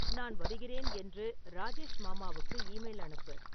நான் வருகிறேன் என்று ராஜேஷ் மாமாவுக்கு ஈமெயில் அனுப்பு